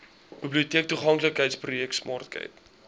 biblioteektoeganklikheidsprojek smart cape